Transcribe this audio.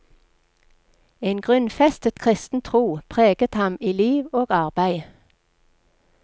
En grunnfestet kristen tro preget ham i liv og arbeid.